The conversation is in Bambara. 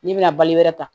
N'i bɛna balo wɛrɛ ta